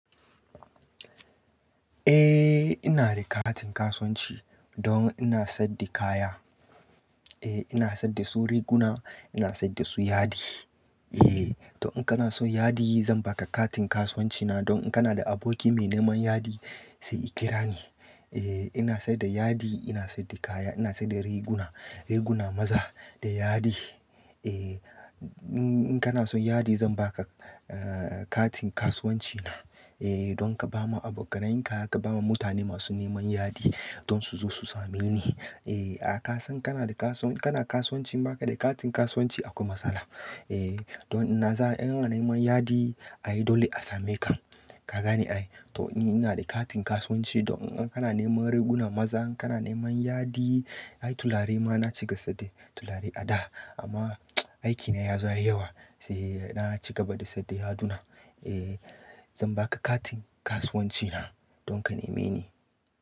Eh ina da katin kasuwanci don ina saida kaya. Eh ina saida su riguna, ina saida su yadi. Eh to in kana so yadi zan baka katin kasuwanci na don in kana da aboki mai neman yadi sai ikira ni. Eh ina saida yadi, ina saida kaya, ina saida riguna, riguna maza da yadi. Eh in kana son yadi zan baka eh katin kasuwanci na. Eh don ka bawa abokanai ka, ka bawa mutane masu neman yadi don su zo su same ni. Eh a ka san kana da kasuwanci, kana kasuwanci baka da katin kasuwanci akwai matsala. Eh don ina za-- in ana neman yadi ayi dole a same ka. Ka gane ai? To ni ina da katin kasuwanci don in kana neman riguna maza, in kana neman yadi, ayi tulare ma na cika sadin tulare a da amma aikina ya zaya yawa sai na ci gaba da saida yaduna. Eh zan baka katin kasuwanci na don ka neme ni.